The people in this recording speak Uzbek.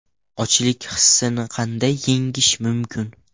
Ochlik hissini qanday yengish mumkin?.